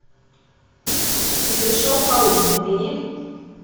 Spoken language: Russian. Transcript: и пришел паук набери